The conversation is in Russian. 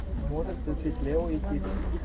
можешь включить лео и тик